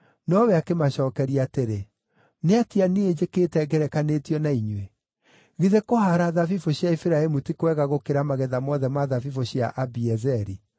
Nowe akĩmacookeria atĩrĩ, “Nĩatĩa niĩ njĩkĩte ngerekanĩtio na inyuĩ? Githĩ kũhaara thabibũ cia Efiraimu ti kwega gũkĩra magetha mothe ma thabibũ cia Abiezeri?